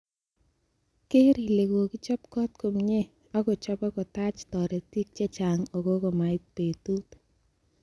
Keer ile kokichob got komie, ak kochobo kotach toritik che chang okot komait betut.